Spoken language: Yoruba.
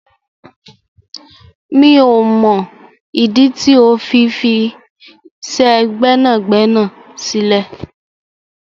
Mio mọ ìdí tí ó fi fisẹ gbẹ́nàgbẹ́nà sílẹ̀.